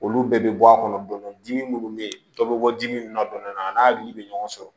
Olu bɛɛ bɛ bɔ a kɔnɔ dɔndɔni dimi minnu bɛ dɔ bɛ bɔ dimi min na don dɔ la a n'a hakili bɛ ɲɔgɔn sɔrɔ